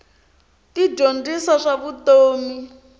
ti dyondzisa swa vutomi